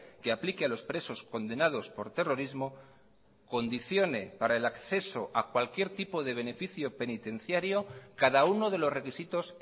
que aplique a los presos condenados por terrorismo condicione para el acceso a cualquier tipo de beneficio penitenciario cada uno de los requisitos